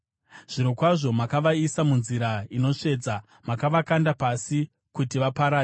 Zvirokwazvo makavaisa munzira inotsvedza; makavakanda pasi kuti vaparare.